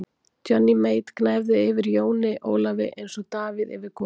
Johnny Mate gnæfði yfir Jóni Ólafi eins og Davíð yfir Golíat.